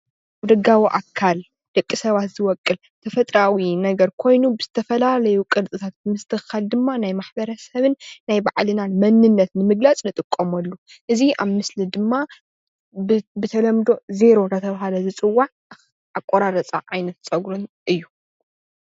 ደጋዊ ኣካል ደቂ ሰባት ዝወቅል ተፈጥራኣዊ ነገር ኮይኑ ብዝተፈላለዩ ቅርፅታት ምስትካል ድማ ናይ ማሕበረ ሰብን ባዕልና ናይ መንነትን ንምግላፅ ዝጥቀመሉ፡፡ እዚ ኣብ ምስሊ ድማ ብተለምዶ ዜሮ እናተባሃለ ዝፅዋዕ ኣቆራርፃ ዓይነት ፀጉርን እዩ፡፡